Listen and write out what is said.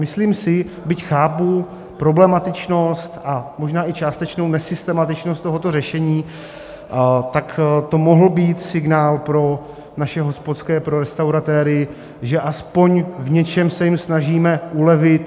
Myslím si, byť chápu problematičnost a možná i částečnou nesystematičnost tohoto řešení, tak to mohl být signál pro naše hospodské, pro restauratéry, že aspoň v něčem se jim snažíme ulevit.